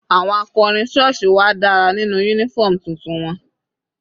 Àwọn akọrin sọ́ọ̀sì wa dára nínú uniform tuntun wọn.